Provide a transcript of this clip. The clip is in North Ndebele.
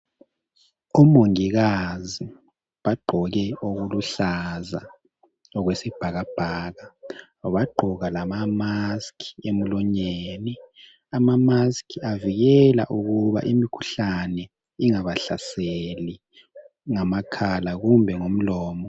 Omongikazi bagqoke okuluhlaza okwesibhakabhaka bagqoka lama musk emlonyeni ama musk avikela ukuba imikhuhlane ingabahlaseli ngamakhala kumbe ngomlomo.